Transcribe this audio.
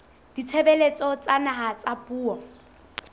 ditshebeletso tsa naha tsa puo